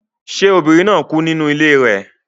Ṣé obìnrin náà kú nínú ilé rẹ